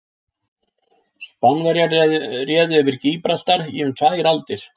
Spánverjar réðu yfir Gíbraltar í um tvær aldir.